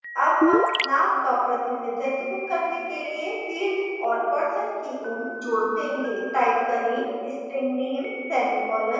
add हम name का प्रतिनिधित्व करने के लिए field और person की उम्र जोड देंगे type करें string name semicolon